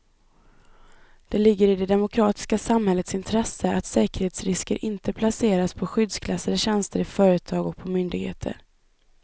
Det ligger i det demokratiska samhällets intresse att säkerhetsrisker inte placeras på skyddsklassade tjänster i företag och på myndigheter.